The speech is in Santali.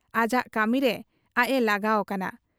ᱟᱡᱟᱜ ᱠᱟᱹᱢᱤᱨᱮ ᱟᱡ ᱮ ᱞᱟᱜᱟᱣ ᱠᱟᱱᱟ ᱾